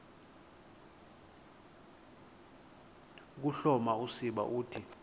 ukuhloma usiba uthi